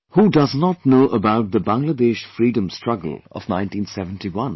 Who does not know about the Bangladesh Freedom Struggle of 1971